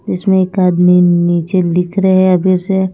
इस में एक आदमी नीचे लिख रहे हैं अभी उसे--